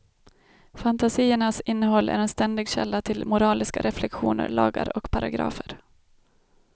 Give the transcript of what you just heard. Fantasiernas innehåll är en ständig källa till moraliska reflexioner, lagar och paragrafer.